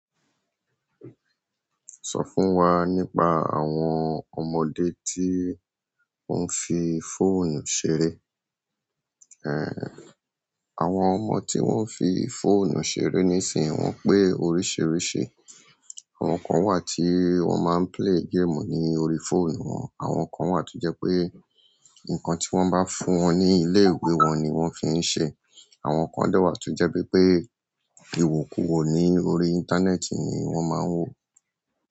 Sọ fún wa nípa àwọn ọmọdé tí ó ń fi fóònù ṣeré. Ehn, àwọn ọmọ tí wọ́n fi fóònù ṣeré níìsín wọ́n pé oríṣiríṣi. Àwọn kan wà tí wọ́n máa ń play game ní orí fóònù wọn, àwọn kan wà tí jẹ́ pé nǹkan tí wọ́n bá fún wọn ní ilé ìwé wọn ni wọ́n fi ń ṣe, àwọn kan dẹ̀ wà tí jẹ́ pé pé ìwọ̀kuwọ̀ ní orí íńtánẹ́ẹ̀tì ni wọ́n máa ń wò.